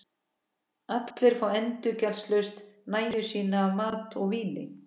Allir fá endurgjaldslaust nægju sína af mat og víni.